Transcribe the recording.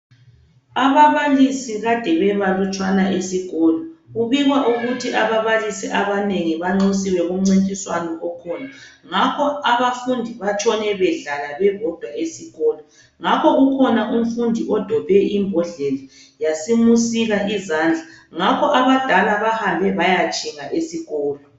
Abablisi abanengi kadebengekho esikolo, kubikwa ukubana abablisi bebenxusiwe emncintiswaneni ngakho abantu basuka badobha imbodlela yasisika omunye izandla ,abadala bahamba bayatshinga esikolo .